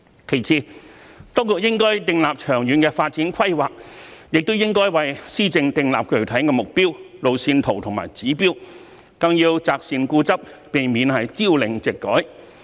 其次，當局應訂立長遠發展規劃，也應為施政訂立具體的目標、路線圖和指標，更要擇善固執，避免朝令夕改。